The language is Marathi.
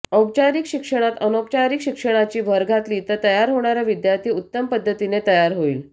औपचारीक शिक्षणात अनौपचारीक शिक्षणाची भर घातली तर तयार होणारा विद्यार्थी उत्तम पद्धतीने तयार होईल